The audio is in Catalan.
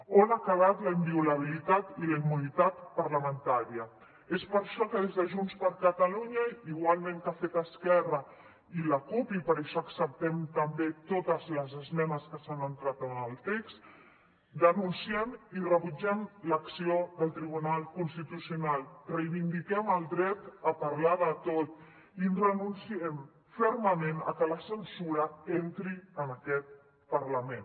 on han quedat la inviolabilitat i la immunitat parlamentàries és per això que des de junts per catalunya igualment com han fet esquerra i la cup i per això acceptem també totes les esmenes que s’han entrat en el text denunciem i rebutgem l’acció del tribunal constitucional reivindiquem el dret a parlar de tot i renunciem fermament a que la censura entri en aquest parlament